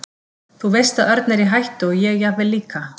Þú veist að Örn er í hættu og ég jafnvel líka.